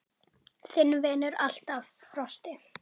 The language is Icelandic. Þinn vinnur alltaf, Frosti.